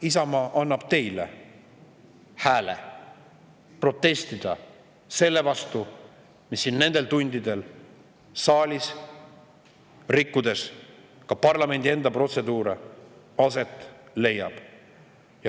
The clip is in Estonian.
Isamaa annab teile hääle protestida selle vastu, mis nendel tundidel siin saalis, rikkudes ka parlamendi enda protseduure, aset leiab.